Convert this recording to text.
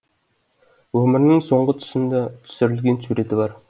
өмірінің соңғы тұсында түсірілген суреті бар